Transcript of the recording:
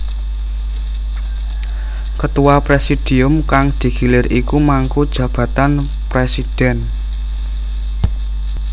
Ketua presidium kang digilir iku mangku jabatan presidhèn